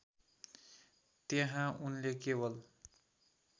त्यहाँ उनले केवल